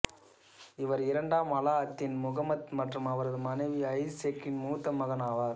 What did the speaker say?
இவர் இரண்டாம் அலா அத்தின் முஹம்மத் மற்றும் அவரது மனைவி ஐசிசெக்கின் மூத்த மகன் ஆவார்